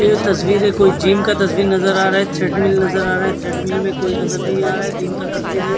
ये तस्वीरे कोई जिम का तस्वीर नजर आ रहा है थ्रेडमिल नज़र आ रहा है थ्रेडमिल में कोई नजर नहीं आ रहा है दिन का तस्वीर है।